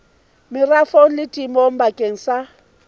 merafong le temong bakeng sa